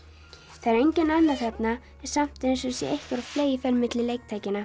það er enginn annar þarna en samt er eins og sé einhver á fleygiferð milli